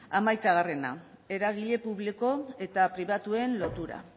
hamaikagarrena eragile publiko eta pribatuen lotura